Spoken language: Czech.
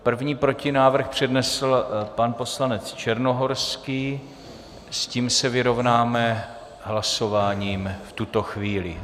První protinávrh přednesl pan poslanec Černohorský, s tím se vyrovnáme hlasováním v tuto chvíli.